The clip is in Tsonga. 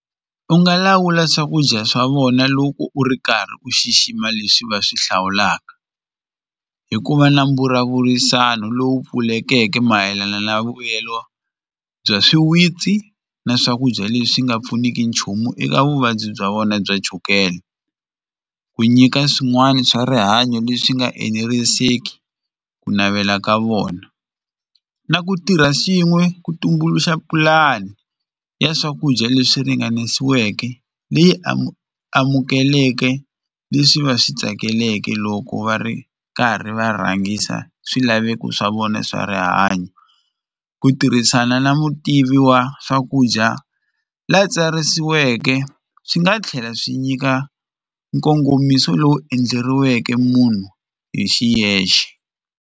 U nga lawula swakudya swa vona loko u ri karhi u xixima leswi va swi hlawulaka hi ku va na mbulavurisano lowu pfulekeke mayelana na vuyelo bya swiwitsi na swakudya leswi nga pfuniki nchumu eka vuvabyi bya vona bya chukele u ku nyika swin'wana swa rihanyo leswi nga eneriseki ku navela ka vona na ku tirha swin'we ku tumbuluxa pulani ya swakudya leswi ringanisiweke leyi amukeleke leswi va swi tsakeleke loko va ri karhi va rhangisa swilaveko swa vona swa rihanyo ku tirhisana na mutivi wa swakudya la tsarisiweke swi nga tlhela swi nyika nkongomiso lowu endleriweke munhu hi xiyexe.